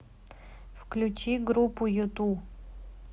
включи группу юту